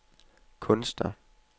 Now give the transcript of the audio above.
kunstner